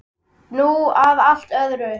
Nú að allt öðru.